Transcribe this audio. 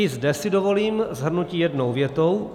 I zde si dovolím shrnutí jednou větou.